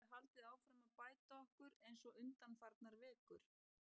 Vonandi getum við haldið áfram að bæta okkur eins og undanfarnar vikur.